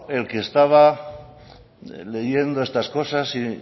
el que estaba leyendo estas cosas y